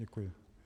Děkuji.